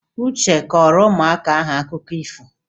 Uche a kọọrọ ụmụaka ahụ akụkọ ifo?